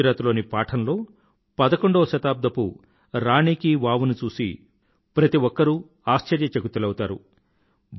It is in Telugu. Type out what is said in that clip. గుజరాత్ లోని పాఠన్ లో పదకొండవ శతాబ్దపు రాణి కీ వావ్ ని చూసి ప్రతిఒక్కరూ ఆశ్చర్యచకితులౌతారు